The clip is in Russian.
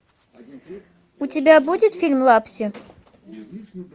у тебя будет фильм лапси